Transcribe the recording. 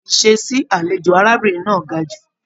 Ìṣe sí àlejò arábìnrin náà ga jù.